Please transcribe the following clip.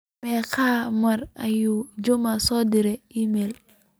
meqo mar ayuu juma isoo direy iimayl